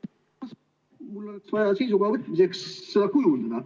Mul oleks vaja seisukoha võtmiseks seda teada.